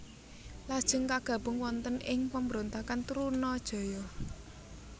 Lajeng kagabung wonten ing pemberontakan Trunajaya